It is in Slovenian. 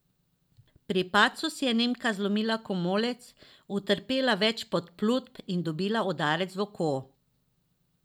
Pri padcu si je Nemka zlomila komolec, utrpela več podplutb in dobila udarec v oko.